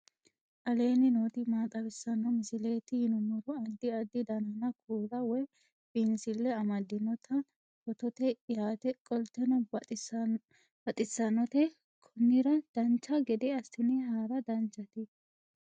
aleenni nooti maa xawisanno misileeti yinummoro addi addi dananna kuula woy biinsille amaddino footooti yaate qoltenno baxissannote konnira dancha gede assine haara danchate